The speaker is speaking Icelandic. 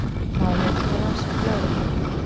Málið er nú í rannsókn lögreglu